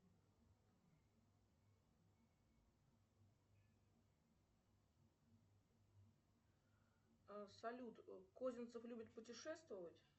салют козинцев любит путешествовать